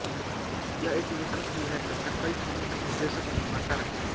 यह एक लेखक भी हैं तथा कई फिल्मों के निर्देशक और निर्माता रहें हैं